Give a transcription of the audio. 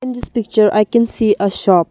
in this picture i can see a shop.